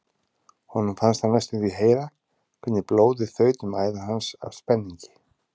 Honum fannst hann næstum því heyra hvernig blóðið þaut um æðar hans af spenningi.